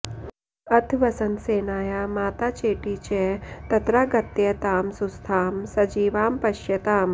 अथ वसन्तसेनाया माता चेटी च तत्रागत्य तां सुस्थां सजीवामपश्यताम्